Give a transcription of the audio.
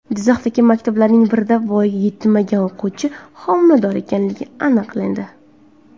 Jizzaxdagi maktablarning birida voyaga yetmagan o‘quvchi homilador ekanligi aniqlandi.